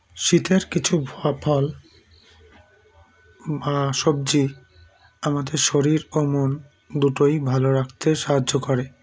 শীতের কিছু ব ফল আআ সবজি আমাদের শরীর ও মন দুটোই ভালো রাখতে সাহায্য করে